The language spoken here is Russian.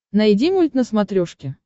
найди мульт на смотрешке